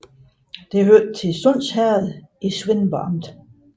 Det hørte til Sunds Herred i Svendborg Amt